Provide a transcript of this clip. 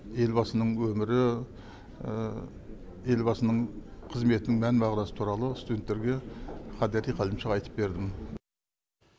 елбасының өмірі елбасының қызметтің мән мағынасы туралы студенттерге қадери қалымша айтып бердім